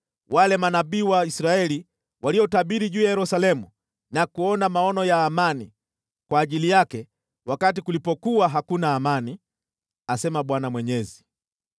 wale manabii wa Israeli waliotabiri juu ya Yerusalemu na kuona maono ya amani kwa ajili yake wakati kulipokuwa hakuna amani, asema Bwana Mwenyezi.” ’